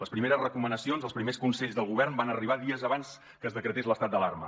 les primeres recomanacions els primers consells del govern van arribar dies abans que es decretés l’estat d’alarma